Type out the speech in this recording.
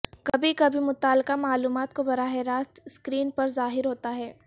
کبھی کبھی متعلقہ معلومات کو براہ راست سکرین پر ظاہر ہوتا ہے